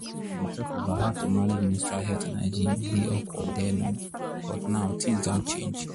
to dey talk about how to manage menstrual health and hygiene dey awkward then oh but now things doh change